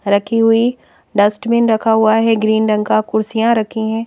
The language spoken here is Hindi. रखी हुई डस्टबिन रखा हुआ है ग्रीन रंग का कुर्सियां रखी हैं।